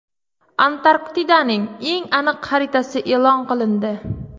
Antarktidaning eng aniq xaritasi e’lon qilindi.